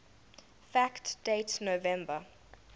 fact date november